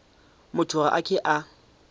motho ga a ke a